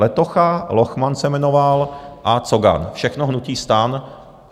Letocha, Lochman se jmenoval a Cogan, všechno hnutí STAN.